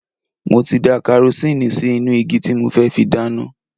Mo ti da karosíìnì sí inú igi tí mo fẹ́ fi dáná.